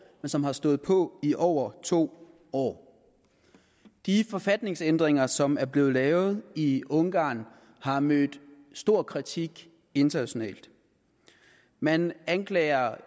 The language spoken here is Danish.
som har stået på i over to år de forfatningsændringer som er blevet lavet i ungarn har mødt stor kritik internationalt man anklager